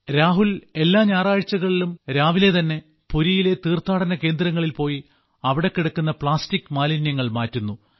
രാഹുൽ എല്ലാ ഞായറാഴ്ചകളിലും രാവിലെ തന്നെ പുരിയിലെ തീർത്ഥാടന കേന്ദ്രങ്ങളിൽ പോയി അവിടെ കിടക്കുന്ന പ്ലാസ്റ്റിക് മാലിന്യങ്ങൾ മാറ്റുന്നു